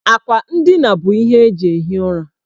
Akwa ndina bụ ihe eji ehi ụra.